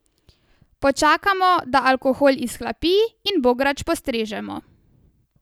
Počakamo, da alkohol izhlapi in bograč postrežemo.